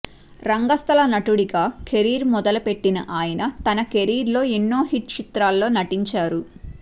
రంగస్థల నటుడిగా కెరీర్ మొదలుపెట్టిన ఆయన తన కెరీర్ లో ఎన్నో హిట్ చిత్రాల్లో నటించారు